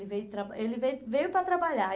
E ele veio traba ele veio veio para trabalhar.